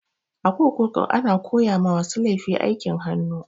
A kurkuku ana koya ma masu laifi aikin hannu